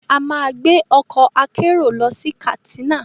A máa gbé ọkọ̀ akérò lọ sí Katsina